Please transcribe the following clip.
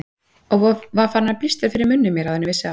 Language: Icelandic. Og var farinn að blístra fyrir munni mér áður en ég vissi af.